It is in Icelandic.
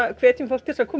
hvetjum fólk til að koma